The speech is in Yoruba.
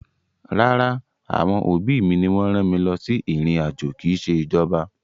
Rárá, àwọn òbí mi ni wọ́n rán mi lọ sí ìrìn-àjò, kì í ṣe ìjọba.